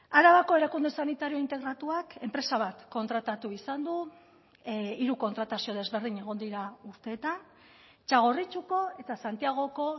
arabako erakunde sanitario integratuak enpresa bat kontratatu izan du hiru kontratazio desberdin egon dira urteetan txagorritxuko eta santiagoko